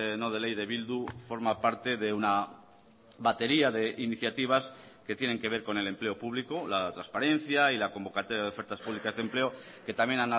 no de ley de bildu forma parte de una batería de iniciativas que tienen que ver con el empleo público la transparencia y la convocatoria de ofertas públicas de empleo que también